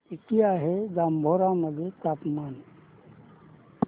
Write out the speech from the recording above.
किती आहे जांभोरा मध्ये तापमान